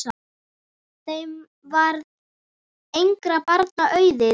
Þeim varð engra barna auðið.